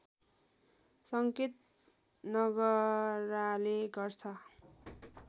सङ्केत नगराले गर्छ